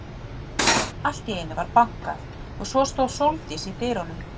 Allt í einu var bankað og svo stóð Sóldís í dyrunum.